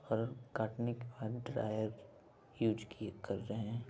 फल काटने के बाद ड्रायर यूज किए कर रहे है।